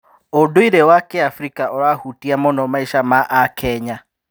ũndũire wa Kĩabirika ũrahutia mũno maica ma Akenya.#